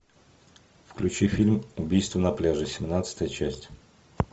включи фильм убийство на пляже семнадцатая часть